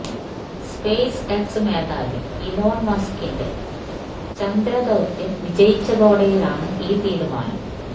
space X മേധാവി Elon മസ്കിന്റെ ചന്ദ്രദൌത്ത്യം വിജയിച്ചതോടെയാണ് ഈ തീരുമാനം